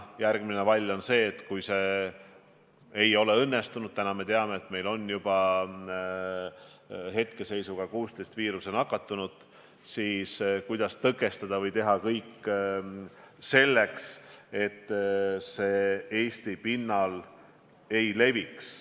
Järgmine vall, kui see ei ole õnnestunud – ja täna me teame, et meil on juba 16 viirusesse nakatunut –, on teha kõik selleks, et viirus Eesti pinnal ei leviks.